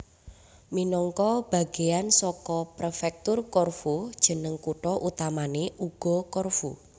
Minangka bagéyan saka Prefektur Corfu jeneng kutha utamané uga Corfu